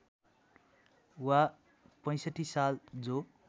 वा ६५ साल जो